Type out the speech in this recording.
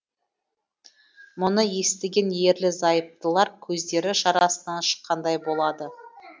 мұны естіген ерлі зайыптылар көздері шарасынан шыққандай болады